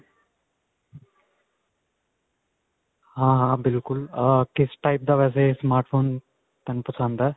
ਹਾਂ ਹਾਂ. ਬਿਲਕੁਲ ਅਅ ਕਿਸ type ਦਾ ਵੈਸੇ smart phone? ਤੈਨੂੰ ਪਸੰਦ ਹੈ.